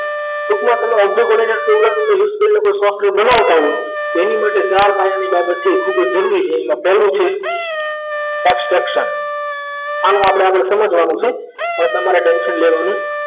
તો કે આપણે object વડે ફોટાનું list કરીએ તો software બનાવતા હોય તો એને માટે ચાર પાયાની બાબત છે ખૂબ જ જરૂરી છે પહેલી છે extension ને આગળ આપણે સમજવાનું છે હવે તમારે ટેન્શન લેવાનું